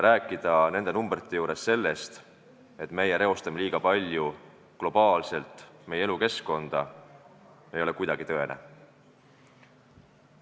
Rääkida neid numbreid vaadates sellest, et meie reostame liiga palju meie globaalset elukeskkonda, ei ole tõene.